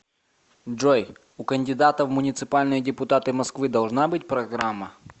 джой у кандидата в муниципальные депутаты москвы должна быть программа